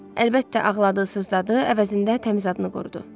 Əlbəttə ağladınız, sızdadı, əvəzində təmiz adını qorudu.